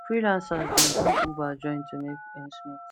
freelancers dey do uber join to make ends meet